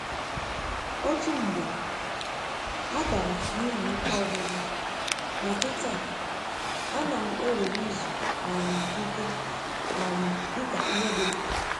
Otu mgbe, a dara n’ihi ike ọgwụgwụ, ma kịta, a na'm ewere izu um ike um dika ihe dị mkpa.